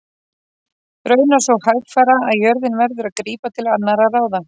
Raunar svo hægfara að jörðin verður að grípa til annarra ráða.